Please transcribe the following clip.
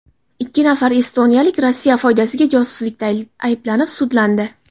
Ikki nafar estoniyalik Rossiya foydasiga josuslikda ayblanib, sudlandi.